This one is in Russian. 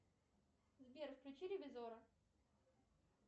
сбер включи ревизора